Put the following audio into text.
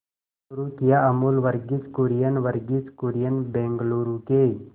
शुरू किया अमूल वर्गीज कुरियन वर्गीज कुरियन बंगलूरू के